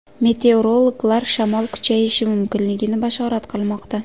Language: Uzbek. Meteorologlar shamol kuchayishi mumkinligini bashorat qilmoqda.